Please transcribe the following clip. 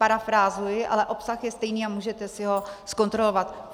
Parafrázuji, ale obsah je stejný a můžete si ho zkontrolovat.